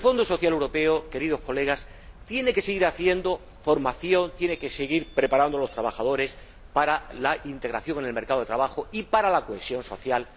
Porque el Fondo Social Europeo, queridos colegas, tiene que seguir haciendo formación, tiene que seguir preparando a los trabajadores para la integración en el mercado de trabajo y para la cohesión social